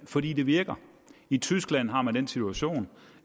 fordi det virker i tyskland har man den situation